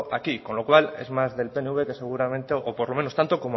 aquí con lo cual es más del pnv que seguramente o por lo menos tanto